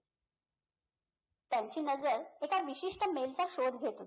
त्यांची नझर एका विशिष्ट mail चा शोध घेत होती